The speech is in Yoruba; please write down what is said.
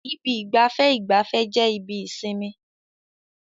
Ibi ìgbafẹ́ ìgbafẹ́ jẹ́ ibi ìsinmi.